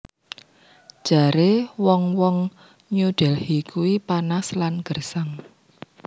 Jare wong wong New Delhi kui panas lan gersang